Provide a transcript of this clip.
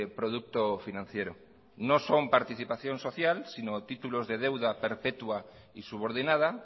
producto financiero no son participación social sino títulos de deuda perpetua y subordinada